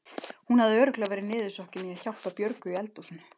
Hún hafði örugglega verið niðursokkin í að hjálpa Björgu í eldhúsinu.